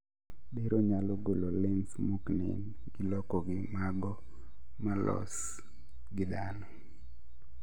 Bero nyalo golo lens moknen gi loko gi mago molos gi dhano